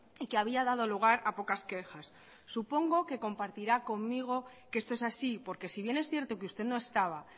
y que había dado lugar a pocas quejas supongo que compartirá conmigo que esto es así porque si bien es cierto que usted no estaba